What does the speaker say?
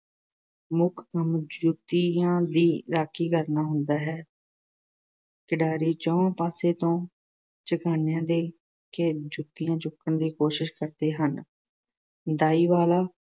ਮੁੱਖ ਕੰਮ ਜੁੱਤੀਆਂ ਦੀ ਰਾਖੀ ਕਰਨਾ ਹੁੰਦਾ ਹੈ। ਖਿਡਾਰੀ ਚਹੁੰਆਂ ਪਾਸਿਆਂ ਤੋਂ ਝਕਾਨੀਆਂ ਦੇ ਕੇ ਜੁੱਤੀਆਂ ਚੁੱਕਣ ਦੀ ਕੋਸ਼ਿਸ਼ ਕਰਦੇ ਹਨ। ਦਾਈ ਵਾਲਾ